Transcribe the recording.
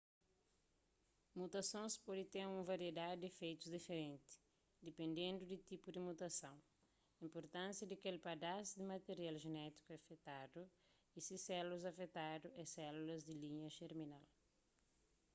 mutasons pode ten un variedadi di ifeitus diferenti dipendendu di tipu di mutason inpurtánsia di kel padas di material jenétiku afetadu y si sélulas afetadu é sélulas di linha jerminal